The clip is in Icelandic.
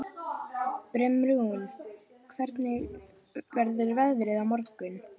Brimrún, hvernig verður veðrið á morgun?